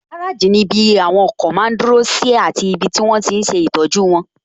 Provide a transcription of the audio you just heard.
Gáràjì ní ibi àwọn ọkọ̀ máa n dúró sí àti ibi tí wọ́n tíi n ṣe ìtọ́jú wọn